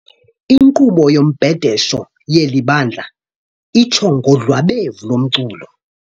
Inkqubo yombhedesho yeli bandla itsho ngodlwabevu lomculo.